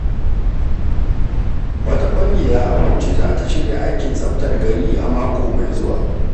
Wata ƙungiya a Bauchi za ta shirya aikin tsaftar gari a mako mai zuwa.